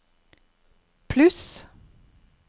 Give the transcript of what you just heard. pluss